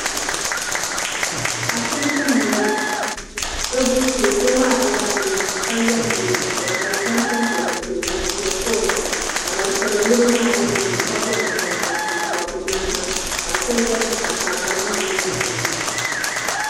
Ashipti ni n bono. Tibibu shee. Doo maa dola garo zuɣu ka ye nien piela ka bɛ zaŋ tampiela pilo ka difɛli kuɣi o zuɣu. ka ban tibiri niriba maa be nimaani ka bo nangban bobirisi n pobi be noya ka shebi ʒɛ zuɣusaa ka bari maa mi do tiŋa.